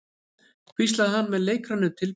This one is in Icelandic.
hvíslaði hann með leikrænum tilburðum.